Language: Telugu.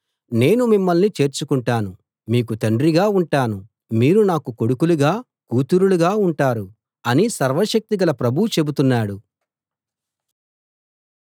నేను మిమ్మల్ని చేర్చుకుంటాను మీకు తండ్రిగా ఉంటాను మీరు నాకు కొడుకులుగా కూతురులుగా ఉంటారు అని సర్వశక్తి గల ప్రభువు చెబుతున్నాడు